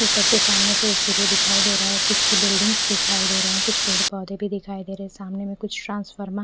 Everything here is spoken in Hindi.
ऊपर से सामने से सूर्य दिखाई दे रहा है कुछ बिल्डिंग्स दिखाई दे रहे है कुछ पेड़ पौधे भी दिखाई दे रहे हैंसामने से कुछ ट्रांसफरमा--